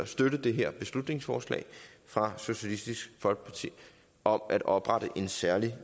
støtte det her beslutningsforslag fra socialistisk folkeparti om at oprette en særlig